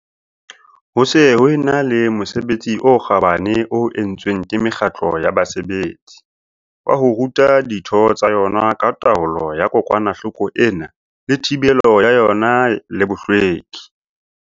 Ho se ho e na le mosebetsi o kgabane o entsweng ke mekgatlo ya basebetsi, wa ho ruta ditho tsa yona ka taolo ya kokwanahloko ena le thibelo ya yona le bohlweki.